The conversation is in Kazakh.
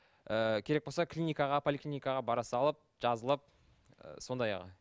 ыыы керек болса клиникаға поликлиникаға бара салып жазылып ы сондайға